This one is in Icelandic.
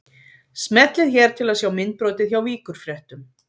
Smellið hér til að sjá myndbrotið hjá Víkurfréttum